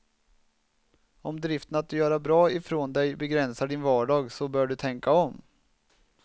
Om driften att göra bra ifrån dig begränsar din vardag så bör du tänka om.